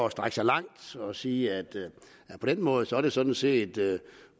at strække sig langt at sige at på den måde er det sådan set